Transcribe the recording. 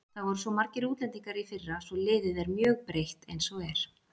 Það voru svo margir útlendingar í fyrra svo liðið er mjög breytt eins og er.